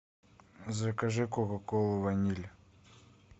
закажи кока колу ваниль